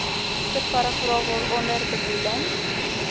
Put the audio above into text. subparagraaf waaronder bedoelde